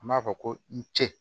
An b'a fɔ ko n cɛ